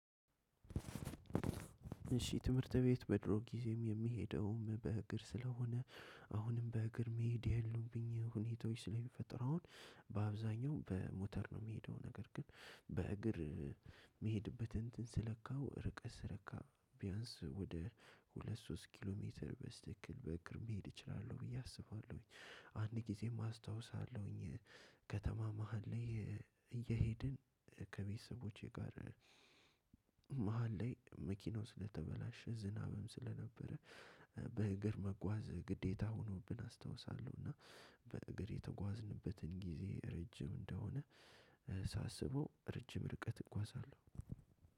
እሺ ትምህርት ቤት በድሮ ጊዜም የሚሄደውም በእግር ስለሆነ አሁንም በእግር መሄድ ያሉብኝ ሁኔታዎች ስለሚፈጠሩ አሁን በአብዛኛው በሞተር ነው የሚሄደው ነገር ግን በእግር- የሚሄድበትን እንትን ስለካው ርቀት ስለካ ቢያንስ ወደ ሁለት ሶስት ኪሎ ሜትር በስትክክል በእግር መሄድ እችላለሁ ብዬ አስባለሁኝ። አንድ ጊዜም አስታውሳለሁኝ ከተማ መሃል ላይ እየሄድን ከቤተሰቦቼ ጋር- መሃል ላይ መኪናው ስለተበላሸ ዝናብም ስለነበረ- በእግር መጓዝ ግዴታ ሆኖብን አስታውሳለሁ እና- በእግር የተጓዝንበትን ጊዜ ረጅም እንደሆነ ሳስበው ረጅም ርቀት እጓዛለሁ።